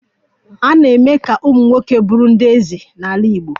A na-eme ka ụmụ nwoke bụrụ ndị eze n'ala Igbo